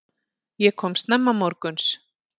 Ég kom snemma morguns.